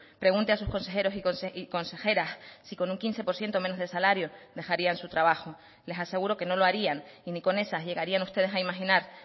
pregunte a sus consejeros y consejeras si con un quince por ciento menos de salario dejarían su trabajo les aseguro que no lo harían y ni con esas llegarían ustedes a imaginar